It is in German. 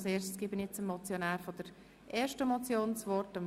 Zuerst gebe ich dem Motionär der ersten Motion das Wort.